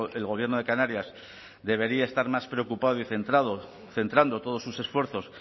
el gobierno de canarias debería estar más preocupado y centrado centrando todos sus esfuerzos